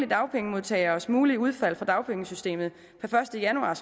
dagpengemodtageres mulige udfald af dagpengesystemet per første januar